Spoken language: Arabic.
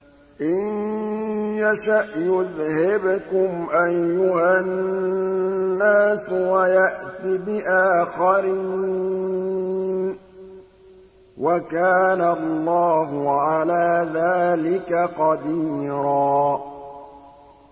إِن يَشَأْ يُذْهِبْكُمْ أَيُّهَا النَّاسُ وَيَأْتِ بِآخَرِينَ ۚ وَكَانَ اللَّهُ عَلَىٰ ذَٰلِكَ قَدِيرًا